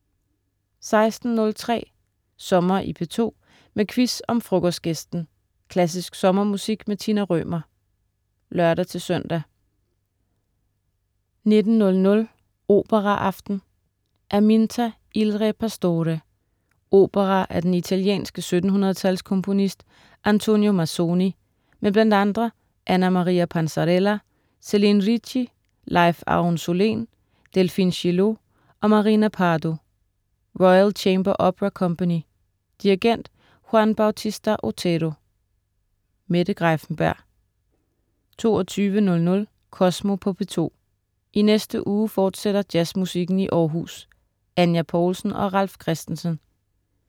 16.03 Sommer i P2, med quiz om Frokostgæsten. Klassisk sommermusik med Tina Rømer (lør-søn) 19.00 Operaaften. Aminta, il re pastore. Opera af den italienske 1700-tals komponist Antonio Mazzoni, men bl.a. Anna-Maria Panzarella, Céline Ricci, Leif Aruhn-Solén, Delphine Gillot og Marina Pardo. Royal Chamber Opera Company. Dirigent: Juan Bautista Otero. Mette Greiffenberg 22.00 Kosmo på P2. I næste uge fortsætter jazzmusikken i Århus. Anya Poulsen og Ralf Christensen